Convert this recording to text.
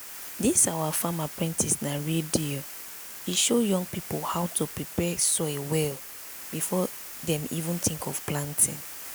this our farm apprentice na real deal e show young people how to prepare soil well before dem even think of planting.